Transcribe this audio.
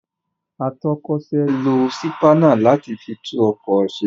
Atọ́kọ̀se lo sípánà láti fi tún ọkọ̀ se.